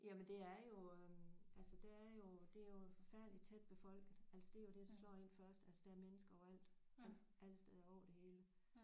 Jamen det er jo altså det er jo det er jo forfærdeligt tæt befolket altså det er jo der slår én først altså der er mennesker overalt alle steder over det hele